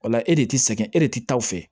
O la e de ti sɛgɛn e de ti taa o fɛ